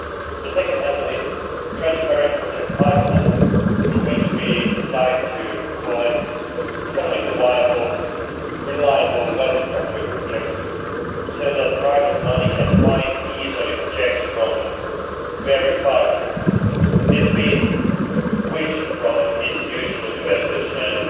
The second angle is a transparent project pipeline for which we would like to collect economically viable, reliable, well structured projects so that private money can easily find projects from various parts of Europe. This has been wished for by institutional investors and